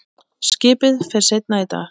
Skipið fer seinna í dag.